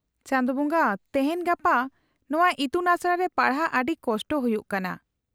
-ᱪᱟᱸᱫᱳ ᱵᱚᱸᱜᱟ ! ᱛᱮᱦᱮᱧ ᱜᱟᱯᱟ ᱱᱚᱶᱟ ᱤᱛᱩᱱᱟᱥᱲᱟ ᱨᱮ ᱯᱟᱲᱦᱟᱜ ᱟᱹᱰᱤ ᱠᱚᱥᱴᱚ ᱦᱩᱭᱩᱜ ᱠᱟᱱᱟ ᱾